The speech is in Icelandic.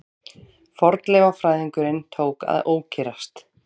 Fornleifafræðingurinn tók að ókyrrast.